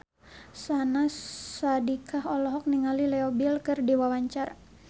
Syahnaz Sadiqah olohok ningali Leo Bill keur diwawancara